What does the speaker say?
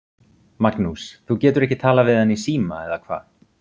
Magnús: Þú getur ekki talað við hann í síma, eða hvað?